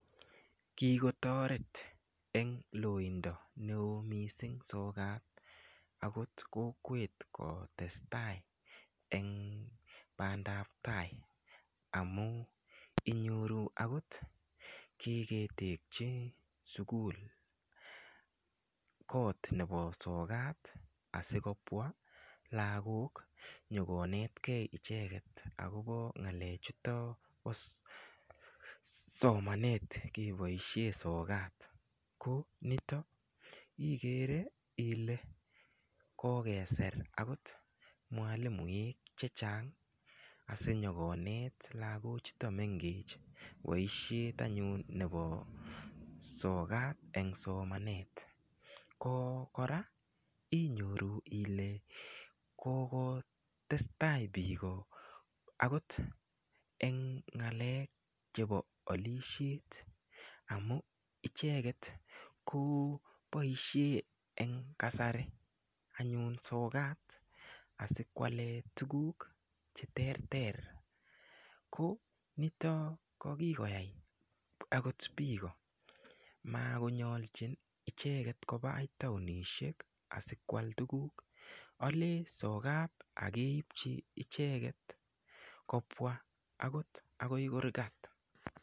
Kikotoret eng loindo neo mising sokat akot kokwet kotestai eng bandaptai amu inyoru akot kiketekchi sukul koot nebo sokat asikopwa lakok nyokonetkei icheket akobo ng'alechuto bo somanet keboishe sokat ko nito igere ile kokeser akot mwalimuek che chang asinyokonet lakochuto mengech boishet anyun nepo sokat eng somanet ko kora inyoru ile koko testai biiko akot eng ng'alek chebo olishet amu icheket ko boishe eng kasari anyun sokat asikwale tukuk che ter ter ko nito ko kikoyai akot biiko makonyolchin icheket koba akoi taonishek asikoal tukuk olee sokat akeipchi icheket kopwa akot akoi kurkat.